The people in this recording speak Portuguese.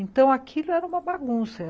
Então, aquilo era uma bagunça.